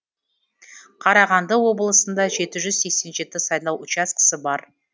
қарағанды облысында жеті жүз сексен жету сайлау учаскесі бар